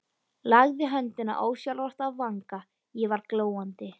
Lagði höndina ósjálfrátt að vanga, ég var glóandi.